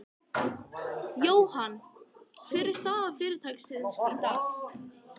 Jóhann, hver er staða fyrirtækisins í dag?